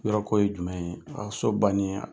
Yɔrɔ ko ye jumɛn ye? A so banni a ?